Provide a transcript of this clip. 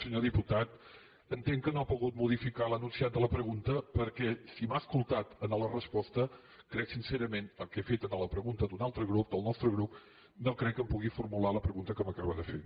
senyor diputat entenc que no ha pogut modificar l’enunciat de la pregunta perquè si m’ha escoltat en la resposta que he fet en la pregunta d’un altre grup del nostre grup no crec que em pugui formular la pregunta que m’acaba de fer